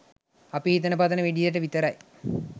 අපි හිතන පතන විදියට විතරයි